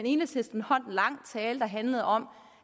enhedslisten holdt en lang tale der handlede om